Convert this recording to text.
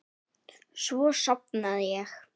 Svo sofnaði ég.